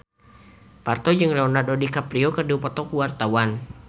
Parto jeung Leonardo DiCaprio keur dipoto ku wartawan